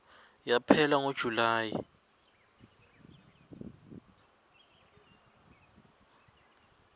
yaphela ngo july